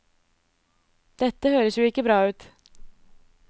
Dette høres jo ikke bra ut.